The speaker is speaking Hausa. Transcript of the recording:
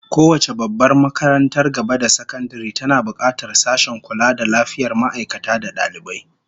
Kowace babbar makarantar gaba da sakandare tana bukatar sashen kula da lafiyar ma'aikata da dalibai